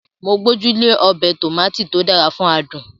Mo gbójú lé ọbẹ̀ Tòmátì tó dára fún adùn